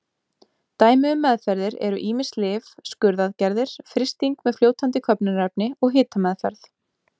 Dæmi um meðferðir eru ýmis lyf, skurðaðgerðir, frysting með fljótandi köfnunarefni og hitameðferð.